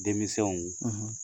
Denmisɛnw